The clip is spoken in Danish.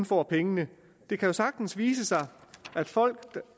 får pengene det kan sagtens vise sig at folk der